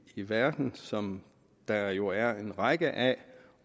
i verden som der jo er en række af